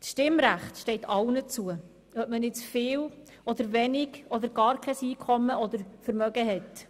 Das Stimmrecht steht allen zu, ob man jetzt viel oder wenig oder gar kein Einkommen oder Vermögen hat.